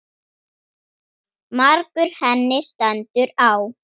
Margur henni stendur á.